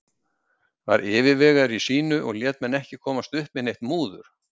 Var yfirvegaður í sínu og lét menn ekki komast upp með neitt múður.